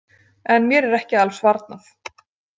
En mér er ekki alls varnað.